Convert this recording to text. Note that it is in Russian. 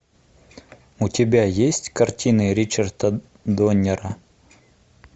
у тебя есть картины ричарда доннера